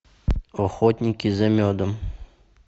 охотники за медом